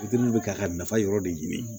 Fitiri bɛ k'a nafa yɔrɔ de ɲini